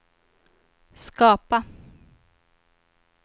skapa